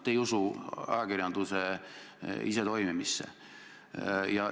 Te ei usu ajakirjanduse isetoimimisse.